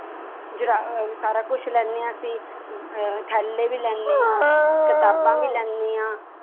ਜੁਰਾ~ ਸਾਰਾ ਕੁਛ ਲੈਂਦੇ ਹਾਂ ਅਸੀਂ ਅਹ ਥੈਲੇ ਵੀ ਲੈਂਦੇ ਹਾਂ ਕਿਤਾਬਾਂ ਵੀ ਲੈਂਦੇ ਹਾਂ।